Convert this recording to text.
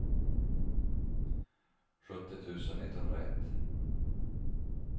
sjuttio tusen etthundraett